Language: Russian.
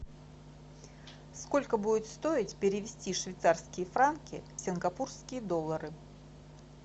сколько будет стоить перевести швейцарские франки в сингапурские доллары